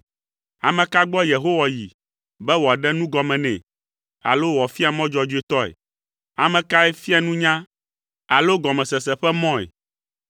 Ame ka gbɔ Yehowa yi be wòaɖe nugɔme nɛ alo wòafia mɔ dzɔdzɔetɔe? Ame kae fia nunya alo gɔmesese ƒe mɔe?